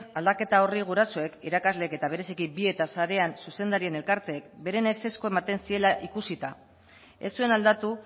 aldaketa horri gurasoek irakasleek eta bereziki zuzendarien elkarteek beren ezezkoa ematen ziela ikusita ez zuen aldatu